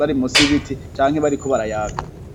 bari musi y'ibiti canke bariko barayaga.